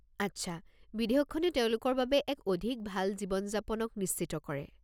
আচ্ছা! বিধেয়কখনে তেওঁলোকৰ বাবে এক অধিক ভাল জীৱন-যাপনক নিশ্চিত কৰে।